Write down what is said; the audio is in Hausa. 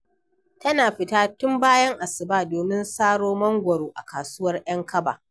Tana fita tun bayan asuba domin saro mangwaro a kasuwar ‘yan kaba.